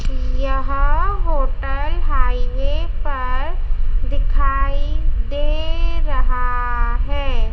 यह hotel highway पर दिखाई दे रहा है।